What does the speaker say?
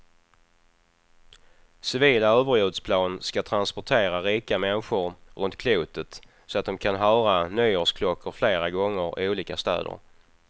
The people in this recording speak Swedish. Civila överljudsplan ska transportera rika människor runt klotet så de kan höra nyårsklockor flera gånger, i olika städer.